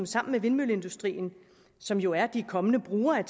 sammen med vindmølleindustrien som jo er de kommende brugere af